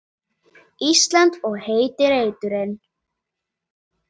Ísland og heiti reiturinn.